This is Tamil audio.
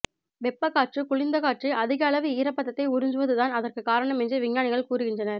வெப்ப காற்று குளிர்ந்த காற்றை அதிக அளவு ஈரப்பதத்தை உறிஞ்சுவது தான் அதற்கு காரணம் என்று விஞ்ஞானிகள் கூறுகின்றனர்